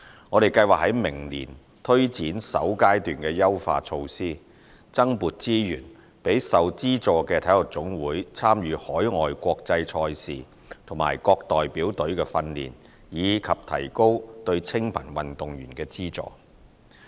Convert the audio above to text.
我們計劃在明年推展首階段的優化措施，增撥資源予受資助的體育總會參與海外國際賽事和各代表隊的訓練，以及提高對清貧運動員的資助。